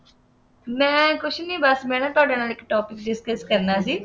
ਮੈਂ ਕੁੱਝ ਨਹੀਂ ਬੱਸ, ਮੈਂ ਨਾ ਤੁਹਾਡੇ ਨਾਲ ਇੱਕ topic discuss ਕਰਨਾ ਸੀ।